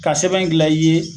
Ka sɛbɛn gila i ye